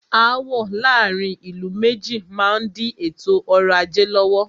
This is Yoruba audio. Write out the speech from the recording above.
Aàwọ̀ láàárín ìlú méjì má n di ètò ọrọ̀ ajé lọ́wọ́.